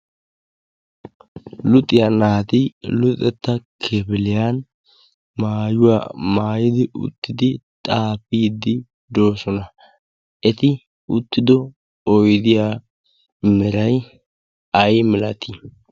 luxiyaanaati luxetta kefeliyan maayuwaa maayidi uttidi xaafiidi doosona. eti uttido oidiya miray ay milatii?